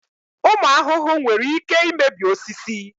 Ụmụ ahụhụ nwere ike imebi osisi.